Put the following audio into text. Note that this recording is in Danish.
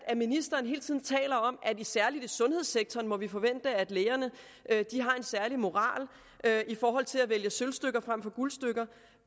at ministeren hele tiden taler om at særligt i sundhedssektoren må vi forvente at lægerne har en særlig moral i forhold til at vælge sølvstykker frem for guldstykker